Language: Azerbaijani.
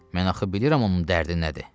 Mən axı bilirəm onun dərdi nədir.